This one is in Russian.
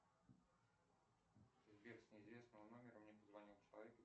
сбер с неизвестного номера мне позвонил человек